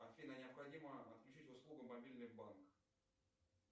афина необходимо отключить услугу мобильный банк